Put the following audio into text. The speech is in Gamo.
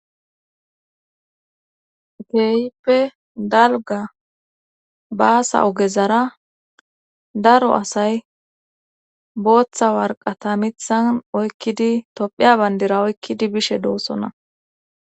Keeyippe dalga baasa ogezara daro asay booththa warqata mithan oykkidi tophiya bandira oykkidi bishe doossona